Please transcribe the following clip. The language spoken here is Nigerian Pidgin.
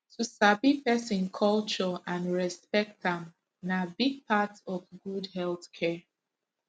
to sabi person culture and respect am na big part of good health care